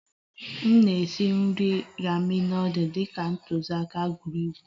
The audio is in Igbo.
M na-esi nri ramen nudul dị ka ntụziaka ngwugwu